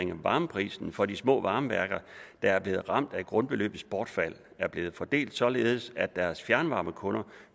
varmeprisen for de små varmeværker der er blevet ramt af grundbeløbets bortfald er blevet fordelt således at deres fjernvarmekunder